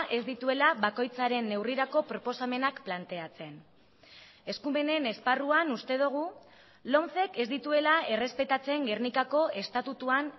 ez dituela bakoitzaren neurrirako proposamenak planteatzen eskumenen esparruan uste dugu lomcek ez dituela errespetatzen gernikako estatutuan